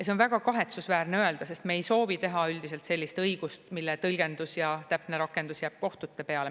See on väga kahetsusväärne öelda, sest me ei soovi teha üldiselt sellist õigust, mille tõlgendus ja täpne rakendus jääb kohtute peale.